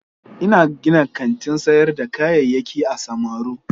Ina gina kantin sayar da kayayyaki a samaru.